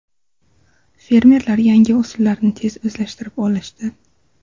Fermerlar yangi usullarni tez o‘zlashtirib olishdi.